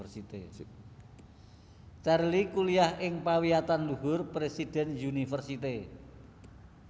Cherly kuliah ing pawiyatanluhur President University